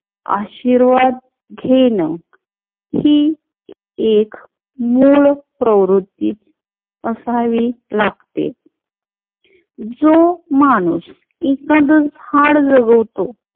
आशीर्वाद घेण हि एक लोक प्रवृत्ती असावी लागते. जो माणूस एकांध झाड जगवतो